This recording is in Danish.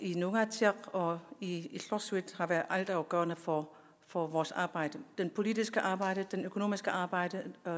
i nuugaatsiaq og i illorsuit har været altafgørende for for vores arbejde det politiske arbejde det økonomiske arbejde og